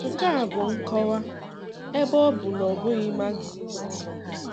Nke a bụ nkọwa, ebe ọ bụ na ọ bụghị Marxist.